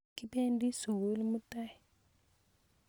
kibendi sukul mutai